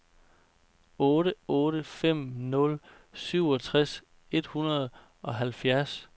otte otte fem nul syvogtres et hundrede og halvfjerds